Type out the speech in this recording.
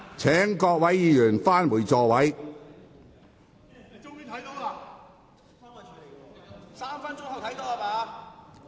請各位議員返回座位。